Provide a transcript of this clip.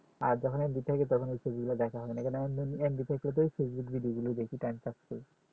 আর যখন mb থাকে তখন ওই ছবিগুলো দেখা হয়না কারণ mb থাকলে পরে facebook ও গুলো দেখি time pass করি